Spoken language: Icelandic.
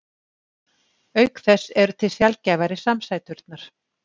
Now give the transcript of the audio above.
auk þess eru til sjaldgæfari samsæturnar